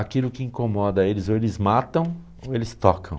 aquilo que incomoda eles, ou eles matam, ou eles tocam.